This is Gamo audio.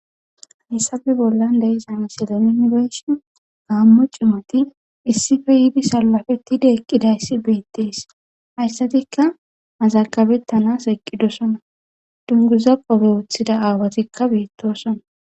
hissabe bollan deizamesila yunibeshon gaammo cimoti issife yiidi salafetide eqqidayssi beettees hayssatikka mazakabettanas eqqidosona dunguza qobe wuthida aawatikka beettosona